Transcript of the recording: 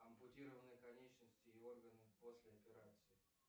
ампутированные конечности и органы после операции